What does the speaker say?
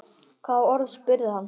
Hvaða orð? spurði hann.